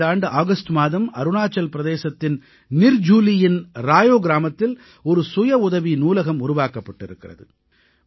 இந்த ஆண்டு ஆகஸ்ட் மாதம் அருணாச்சல் பிரதேசத்தின் நிர்ஜுலியின் ராயோ கிராமத்தில் ஒரு சுய உதவி நூலகம் உருவாக்கப்பட்டிருக்கிறது